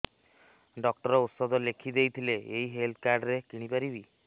doctor ଔଷଧ ଲେଖିଦେଇଥିଲେ ଏଇ ହେଲ୍ଥ କାର୍ଡ ରେ କିଣିପାରିବି